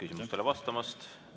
Aitäh küsimustele vastamast!